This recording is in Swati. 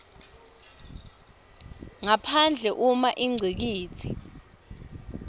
ngaphandle uma ingcikitsi